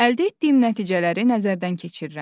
Əldə etdiyim nəticələri nəzərdən keçirirəm.